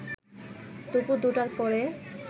দুপুর ২টার পরে